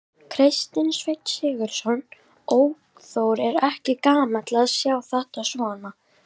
Kristinn Sveinn Sigurðsson, ökuþór: Er ekki gaman að sjá þetta svona?